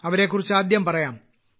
അവരെകുറിച്ച് ആദ്യം പറയാം